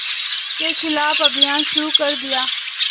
के ख़िलाफ़ अभियान शुरू कर दिया